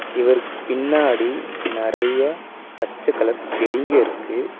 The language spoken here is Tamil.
இவருக்கு பின்னாடி நெறைய பச்ச கலர் செடிங்கருக்கு.